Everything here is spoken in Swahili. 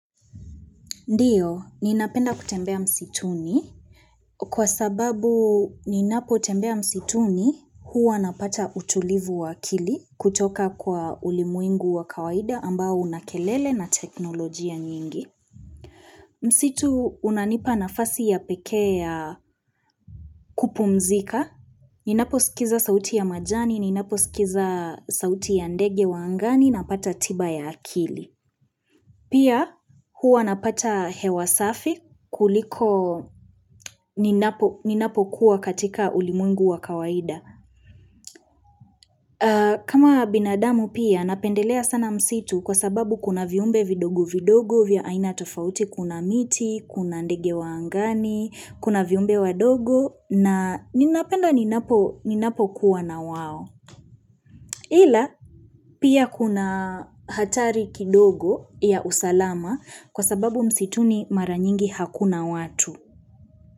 Ndiyo, ninapenda kutembea msituni kwa sababu ninapotembea msituni huwa napata utulivu wa akili kutoka kwa ulimwengu wa kawaida ambao una kelele na teknolojia nyingi. Msitu unanipa nafasi ya pekee ya kupumzika. Ninaposkiza sauti ya majani, ninaposkiza sauti ya ndege wa angani napata tiba ya akili. Pia huwa napata hewa safi kuliko ninapokuwa katika ulimwengu wa kawaida. Kama binadamu pia napendelea sana msitu kwa sababu kuna viumbe vidogo vidogo vya aina tofauti kuna miti, kuna ndege wa angani, kuna viumbe wadogo na ninapenda ninapo kuwa na wao. Ila pia kuna hatari kidogo ya usalama kwa sababu msituni mara nyingi hakuna watu.